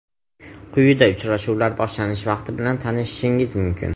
Quyida uchrashuvlar boshlanish vaqti bilan tanishishingiz mumkin.